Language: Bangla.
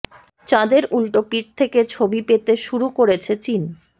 চাঁদের উল্টো পিঠ থেকে ছবি পেতে শুরু করেছে চীন